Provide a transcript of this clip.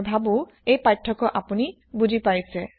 মই ভাবো এই পাৰ্থক্য আপূনি বুজি পাইছে